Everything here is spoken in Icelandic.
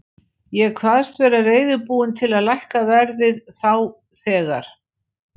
Ég kvaðst vera reiðubúinn til þess að lækka verðið þá þegar.